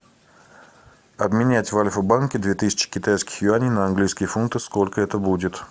обменять в альфа банке две тысячи китайских юаней на английские фунты сколько это будет